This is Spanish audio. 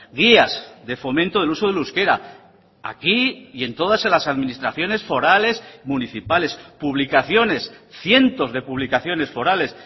guías de fomento del uso del euskera aquí y en todas las administraciones forales municipales publicaciones cientos de publicaciones forales